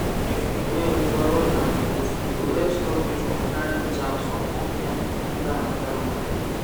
if you wear overall and boot e go help stop you from carrying germs from one pen enter another one